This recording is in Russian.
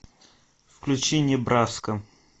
включи небраска